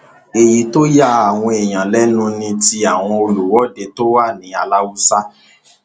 èyí tó ya àwọn èèyàn lẹnu ni ti àwọn olùwọde tó wà ní aláùsá